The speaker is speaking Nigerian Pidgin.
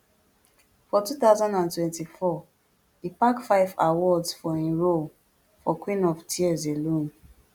for two thousand and twenty-four e pack five awards for im role for queen of tears alone